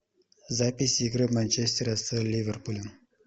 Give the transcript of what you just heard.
запись игры манчестера с ливерпулем